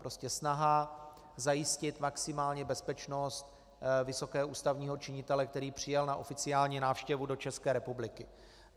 Prostě snaha zajistit maximální bezpečnost vysokého ústavního činitele, který přijel na oficiální návštěvu do České republiky.